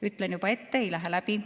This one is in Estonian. Ütlen juba ette: ei lähe läbi.